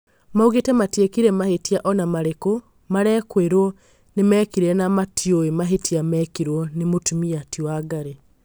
maugĩte matiekire mahĩtia ona marĩku marekũĩrwo nĩmekire na matiũĩ mahĩtia mekirwo nĩ mũtumia ti wangari